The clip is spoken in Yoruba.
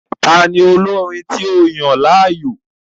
Tani olorin tí o yan láàyò?